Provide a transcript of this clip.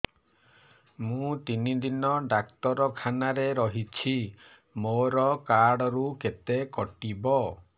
ମୁଁ ତିନି ଦିନ ଡାକ୍ତର ଖାନାରେ ରହିଛି ମୋର କାର୍ଡ ରୁ କେତେ କଟିବ